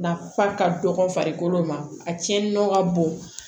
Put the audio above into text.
Nafa ka dɔgɔ farikolo ma a tiɲɛni nɔ ka bon